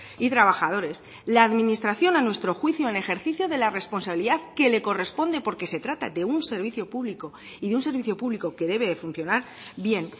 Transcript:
y trabajadores la administración a nuestro juicio en ejercicio de la responsabilidad que le corresponde porque se trata de un servicio público y de un servicio público que debe de funcionar bien